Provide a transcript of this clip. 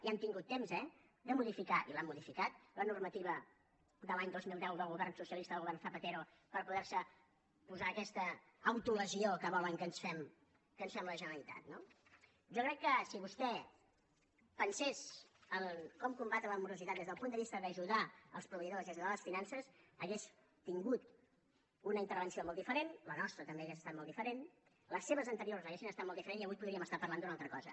i han tingut temps eh de modificar i l’han modificat la normativa de l’any dos mil deu del govern socialista del govern zapatero per poder se posar aquesta autolesió que volen que ens fem la generalitat no jo crec que si vostè pensés en com combatre la morositat des del punt de vista d’ajudar els proveïdors i ajudar les finances hauria tingut una intervenció molt diferent la nostra també hauria estat molt diferent les seves anteriors haurien estat molt diferents i avui podríem estar parlant d’una altra cosa